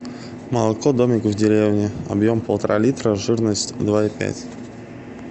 молоко домик в деревне объем полтора литра жирность два и пять